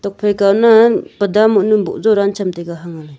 tok phai kau nan bada monu bujo rancham taiga.